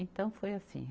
Então, foi assim.